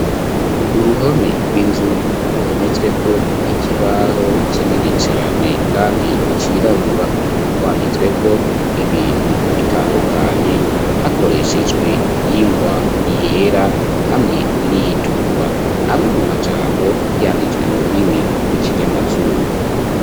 Uruhome rw'inzu ruhometsweko ikibaho kinini cane, kandi cirabura rwanditsweko ibintu bitandukanye, hakoreshejwe ingwa yera, hamwe n'iyitukura, amwe mu majambo yanditswe mu rurimi rw'ikinyamazuru.